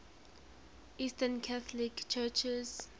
eastern catholic churches